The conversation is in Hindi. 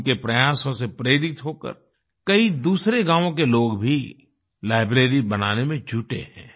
उनके प्रयासों से प्रेरित होकर कई दूसरे गांवों के लोग भी लाइब्रेरी बनाने में जुटे हैं